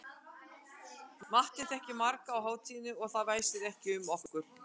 Matti þekkti marga á hátíðinni og það væsti ekki um okkur.